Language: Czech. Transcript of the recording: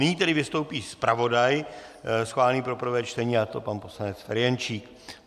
Nyní tedy vystoupí zpravodaj schválený pro prvé čtení, a to pan poslanec Ferjenčík.